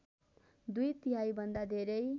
दुई तिहाईभन्दा धेरै